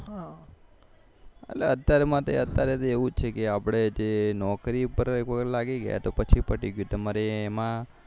અત્યારે માટે એવું છે કે આપડે જે નોકરી પર લાગી ગયા તો પછી પતિ ગયું તમારે